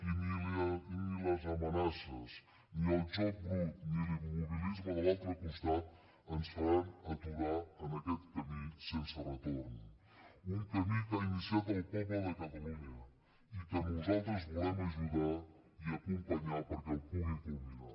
i ni les amenaces ni el joc brut ni l’immobilisme de l’altre costat ens faran aturar en aquest camí sense retorn un camí que ha iniciat el poble de catalunya i que nosaltres volem ajudar i acompanyar perquè el pugui culminar